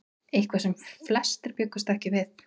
Eitthvað sem flestir bjuggust ekki við